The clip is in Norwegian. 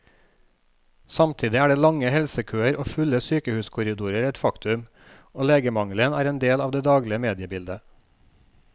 Samtidig er lange helsekøer og fulle sykehuskorridorer et faktum, og legemangelen er en del av det daglige mediebildet.